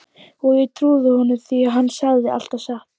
Og ég trúði honum því hann sagði alltaf satt.